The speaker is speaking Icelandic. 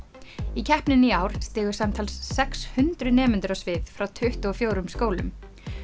í keppninni í ár stigu samtals sex hundruð nemendur á svið frá tuttugu og fjórum skólum